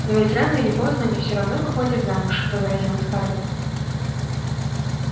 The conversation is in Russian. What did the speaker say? но ведь рано или поздно они всё равно выходят замуж возразила скарлетт